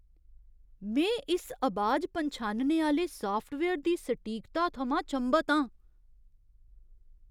में इस अबाज पन्छानने आह्‌ले साफ्टवेयर दी सटीकता थमां चंभत आं।